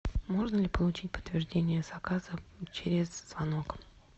можно ли получить подтверждение заказа через звонок